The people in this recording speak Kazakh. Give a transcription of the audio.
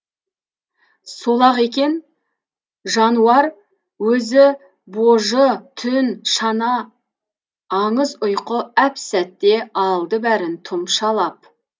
сол ақ екен жануар өзі божы түн шана аңыз ұйқы әп сәтте алды бәрін тұмшалап